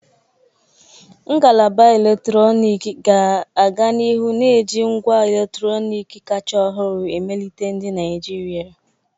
Ngalaba eletrọnịkị ga-aga n'ihu na-eji ngwa eletrọnịkị kacha ọhụrụ emelite ndị Naijiria.